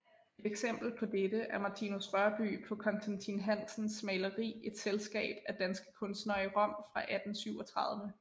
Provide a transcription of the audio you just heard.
Et eksempel på dette er Martinus Rørbye på Constatin Hansens maleri Et selskab af danske kunstnere i Rom fra 1837